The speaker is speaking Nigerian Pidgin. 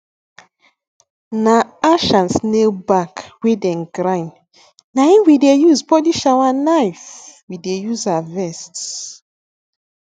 na ash and snail back wey dem grind na em we dey use polish our knife we dey use harvest